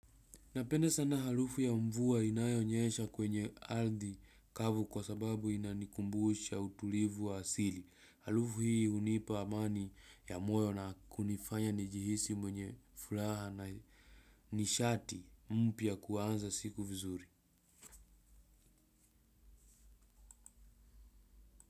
Napenda sana haruru ya mvua inayonyesha kwenye ardhi kavu kwa sababu inanikumbusha utulivu wa asili. Halufu hii unipa amani ya moyo na kunifanya nijihisi mwenye furaha na nishati mpya kuwanza siku vizuri.